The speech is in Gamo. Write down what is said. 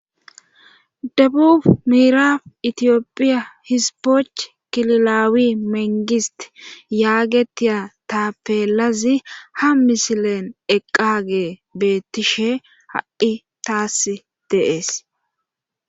Dabufu miiraf itiyophiya hispoch kililaawi mengist yaagetiya taapeelazi ha misilen eqqage beettishe ha'i taas deees